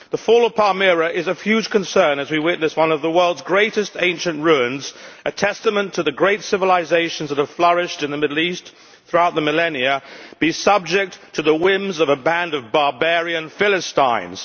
The fall of Palmyra is of huge concern as we witness one of the world's greatest ancient ruins a testament to the great civilisations that have flourished in the Middle East throughout the millennia being subject to the whims of a band of barbarian philistines.